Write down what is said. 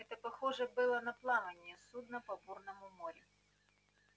это похоже было на плавание судна по бурному морю